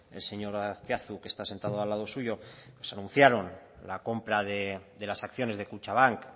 el señor azpiazu que está sentado al lado suyo nos anunciaron la compra de las acciones de kutxabank